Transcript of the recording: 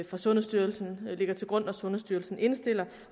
fra sundhedsstyrelsen der ligger til grund når sundhedsstyrelsen indstiller